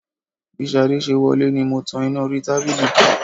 Bí Ṣadé ṣe wọlé ni mo tan iná orí tábìlì kú